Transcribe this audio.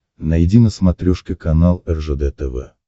найди на смотрешке канал ржд тв